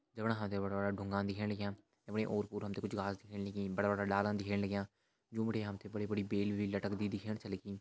जफणा हम तें बड़ा-बड़ा ढुंगा दिखेण लग्यां ओर - पोर हमते कुछ घास दिखेण लगीं बड़ा-बड़ा डाला दिखेण लग्यां जुं बिटि हमते बड़ी-बड़ी बेल भी लटकदि दिखेण छा लगीं।